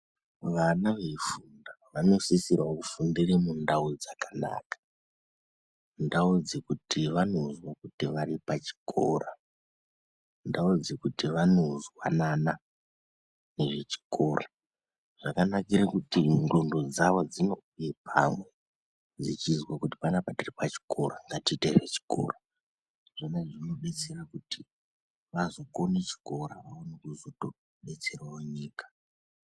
Vana veifunda vanosisirawo kufundira ndau dzakanaka ndau dzekuti vanozwa kuti varipachikora ndau dzekuti vanozwanana nechikora zvakanakira kuti nxondo dzavo dzinomude pamwevechizwa kuti panapa tiripachikora tiite zvechikora kuti zvizobatsira kutiti vakone chikora vazobatsirawo nyika.